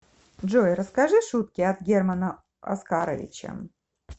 джой расскажи шутки от германа оскаровича